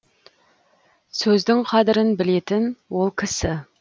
сөздің қадірін білетін ол кісі